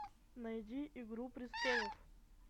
найди игру престолов